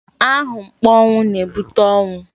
Ahụmkpọnwụ na-ebute ọnwụ.